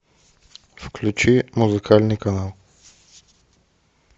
включи музыкальный канал